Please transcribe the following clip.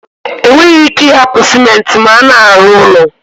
E nweghi ike I hapu Simenti ma a na-aru ulo